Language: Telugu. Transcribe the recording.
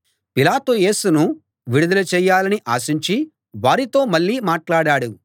పిలాతు యేసును విడుదల చేయాలని ఆశించి వారితో మళ్ళీ మాట్లాడాడు